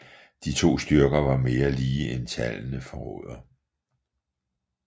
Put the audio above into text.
De to styrker var mere lige end tallene forråder